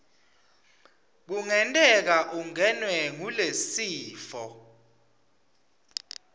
kungenteka ungenwe ngulesifo